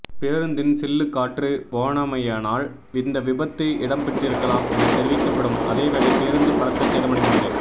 பேருந்தின் சில்லு காற்று போனமையினால் இந்த விபத்து இடம்பெற்றிருக்கலாம் என தெரிவிக்கப்படும் அதேவேளை பேருந்து பலத்த சேதமடைந்துள்ளது